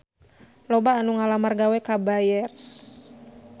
Loba anu ngalamar gawe ka Bayer